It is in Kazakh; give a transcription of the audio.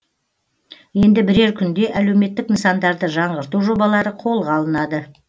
енді бірер күнде әлеуметтік нысандарды жаңғырту жобалары қолға алынады